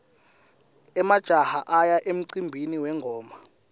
emajaha aya emcimbini wengoma